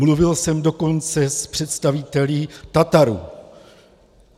Mluvil jsem dokonce s představiteli Tatarů.